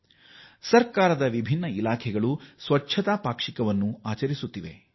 ವಿವಿಧ ಸರ್ಕಾರಿ ಇಲಾಖೆಗಳು ನಿಯಮಿತವಾಗಿ ಸ್ವಚ್ಛತಾ ಪಾಕ್ಷಿಕ ಆಚರಿಸುತ್ತಿವೆ